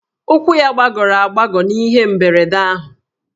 Ụkwụ ya gbagọrọ agbagọ n'ihe mberede ahụ